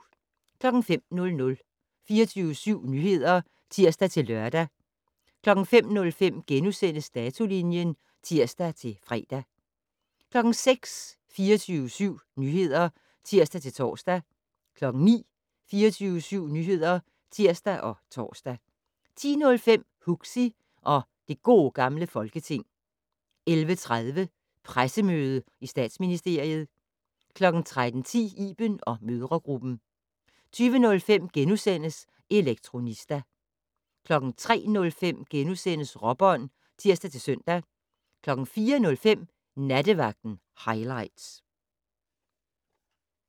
05:00: 24syv Nyheder (tir-lør) 05:05: Datolinjen *(tir-fre) 06:00: 24syv Nyheder (tir-tor) 09:00: 24syv Nyheder (tir og tor) 10:05: Huxi og det Gode Gamle Folketing 11:30: Pressemøde i Statsministeriet 13:10: Iben & mødregruppen 20:05: Elektronista * 03:05: Råbånd *(tir-søn) 04:05: Nattevagten highlights